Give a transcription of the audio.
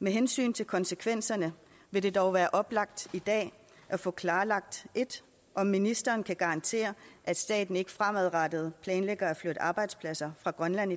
med hensyn til konsekvenserne vil det dog være oplagt i dag at få klarlagt 1 om ministeren kan garantere at staten ikke fremadrettet planlægger at flytte arbejdspladser fra grønland